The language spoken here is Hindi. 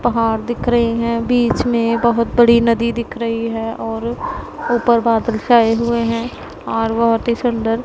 पहाड़ दिख रहे हैं बीच में बहोत बड़ी नदी दिख रही है और ऊपर बादल छाए हुए हैं और बहोत ही सुंदर--